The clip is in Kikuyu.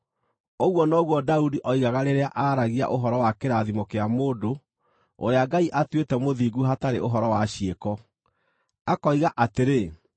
Ũguo noguo Daudi oigaga rĩrĩa aaragia ũhoro wa kĩrathimo kĩa mũndũ ũrĩa Ngai atuĩte mũthingu hatarĩ ũhoro wa ciĩko, akoiga atĩrĩ: